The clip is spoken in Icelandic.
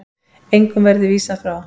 Engum verði vísað frá.